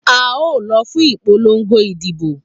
A o lo fún ìpolongo ìdìbò